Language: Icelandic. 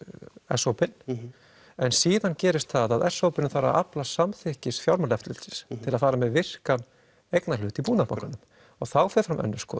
s hópinn en síðan gerist það að s hópurinn þarfa að afla samþykkis fjármálaeftirlitsins til að fara með virkan eignarhlut í Búnaðarbankanum þá fer fram önnur skoðun